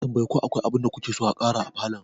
Ya tambayi ko akwai abinda kuke so a ƙara a falon.